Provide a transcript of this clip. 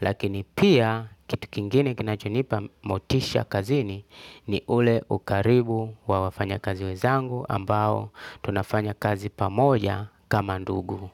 Lakini pia kitu kingine kinachonipa motisha kazini ni ule ukaribu wa wafanyakazi wezangu ambao tunafanya kazi pamoja kama ndugu.